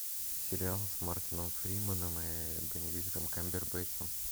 сериал с мартином фриманом и бенедиктом камбербэтчем